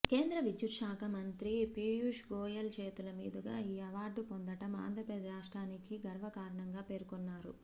కేంద్ర విద్యుత్ శాఖ మంత్రి పీయూష్ గోయల్ చేతుల మీదుగా ఈ అవార్డు పొందడం ఆంధ్ర రాష్ట్రానికి గర్వకారణంగా పేర్కొన్నారు